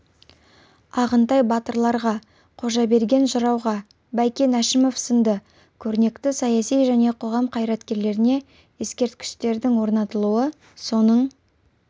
ағынтай батырларға қожаберген жырауға бәйкен әшімов сынды көрнекті саяси және қоғам қайраткерлеріне ескерткіштердің орнатылуы соның